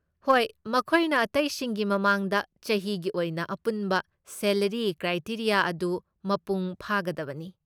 ꯍꯣꯏ, ꯃꯈꯣꯏꯅ ꯑꯇꯩꯁꯤꯡꯒꯤ ꯃꯃꯥꯡꯗ ꯆꯍꯤꯒꯤ ꯑꯣꯏꯅ ꯑꯄꯨꯟꯕ ꯁꯦꯂꯔꯤ ꯀ꯭ꯔꯥꯏꯇꯦꯔꯤꯌꯥ ꯑꯗꯨ ꯃꯄꯨꯡ ꯐꯥꯒꯗꯕꯅꯤ ꯫